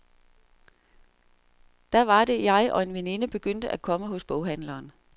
Da var det, jeg og en veninde begyndte at komme hos boghandleren.